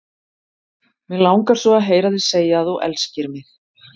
Mig langar svo að heyra þig segja að þú elskir mig!